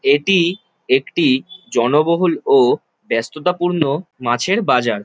এটি একটি জনবহুল ও ব্যস্ততাপূর্ণ মাছের বাজার।